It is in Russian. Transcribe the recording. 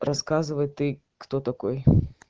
рассказывай ты кто такой